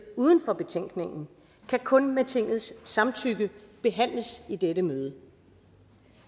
uden for betænkningen kan kun med tingets samtykke behandles i dette møde